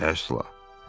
Əsla.